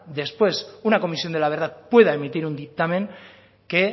después una comisión de la verdad pueda emitir un dictamen que